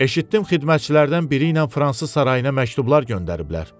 Eşitdim xidmətçilərdən biri ilə fransız sarayına məktublar göndəriblər.